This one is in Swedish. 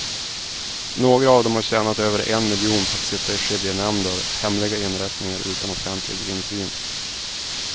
Några av dem har tjänat över en miljon på att sitta i skiljenämnder, hemliga inrättningar utan offentlig insyn.